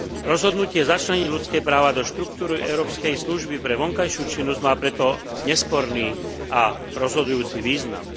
Rozhodnutie začleniť ľudské práva do štruktúr Európskej služby pre vonkajšiu činnosť má preto nesporný a rozhodujúci význam.